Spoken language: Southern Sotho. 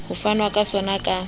ho fanwa ka sona ka